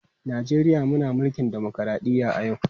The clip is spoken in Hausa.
Najeriya muna mulkin dimokradɗiyya a yau.